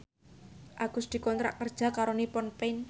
Agus dikontrak kerja karo Nippon Paint